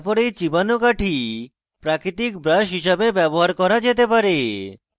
তারপর এই চিবানো কাঠি প্রাকৃতিক ব্রাশ হিসাবে ব্যবহার করা যেতে পারে